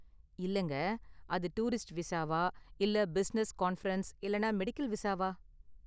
இல்லங்க, அது டூரிஸ்ட் விசாவா இல்ல பிசினஸ், கான்பிரென்ஸ் இல்லனா மெடிக்கல் விசாவா?